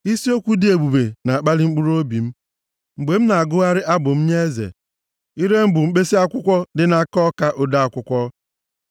Isi okwu dị ebube na-akpali mkpụrụobi m, mgbe m na-agụgharị abụ m nye eze; ire m bụ mkpisi akwụkwọ dị nʼaka ọka ode akwụkwọ.